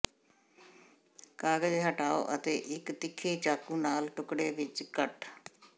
ਕਾਗਜ਼ ਹਟਾਓ ਅਤੇ ਇੱਕ ਤਿੱਖੀ ਚਾਕੂ ਨਾਲ ਟੁਕੜੇ ਵਿੱਚ ਕੱਟ